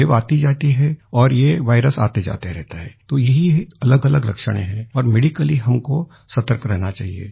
wave आती जाती है और ये वायरस आते जाते रहता है तो यही अलगअलग लक्षण है और मेडिकली हमको सतर्क रहना चाहिए